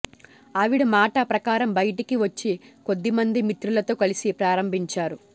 ఆవిడ మాట ప్రకారం బయటకి వచ్చి కొద్దిమంది మిత్రులతో కలిసి ప్రారంభించారు